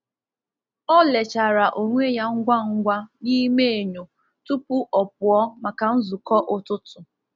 Ọ lechara onwe ya ngwa ngwa n’ime enyo tupu ọ pụọ maka nzukọ ụtụtụ.